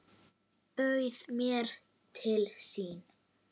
Bauð mér til sín.